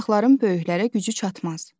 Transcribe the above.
Uşaqların böyüklərə gücü çatmaz.